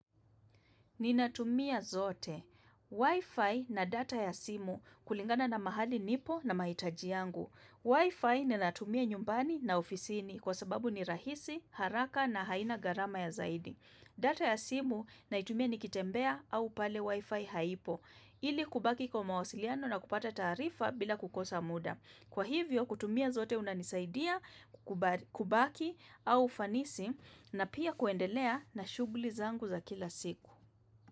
Ninatumia zote. Wi-Fi na data ya simu kulingana na mahali nipo na mahitaji yangu. Wi-Fi ninatumia nyumbani na ofisini kwa sababu ni rahisi, haraka na haina gharama ya zaidi. Data ya simu naitumia nikitembea au pale Wi-Fi haipo. Ili kubaki kwa mawasiliano na kupata taarifa bila kukosa muda. Kwa hivyo kutumia zote unanisaidia kubaki au ufanisi na pia kuendelea na shughuli zangu za kila siku.